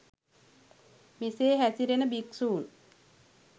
මෙසේ හැසිරෙන භික්‍ෂූන්